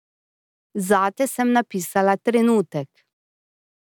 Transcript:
Zate sem napisala trenutek.